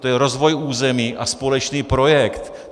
To je rozvoj území a společný projekt.